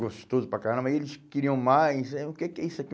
Gostoso para caramba, e eles queriam mais, eh o que que é isso aqui?